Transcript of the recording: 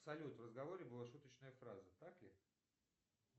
салют в разговоре была шуточная фраза так ли